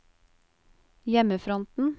hjemmefronten